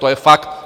To je fakt.